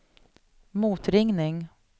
motringning